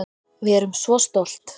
Við erum svo stolt